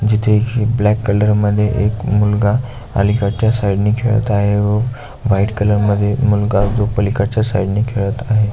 जिथे ही black colour मध्ये एक मुलगा अलीकडच्या साइडने खेळत आहे व व्हाइट कलर मध्ये तो मुलगा पलीकडच्या साइड ने खेळत आहे.